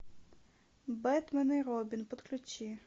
бэтмен и робин подключи